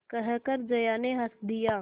कहकर जया ने हँस दिया